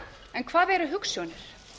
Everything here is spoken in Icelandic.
en hvað eru hugsjónir